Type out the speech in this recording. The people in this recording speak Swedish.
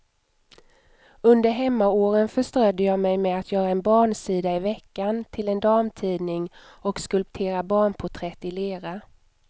Under hemmaåren förströdde jag mig med att göra en barnsida i veckan till en damtidning och skulptera barnporträtt i lera.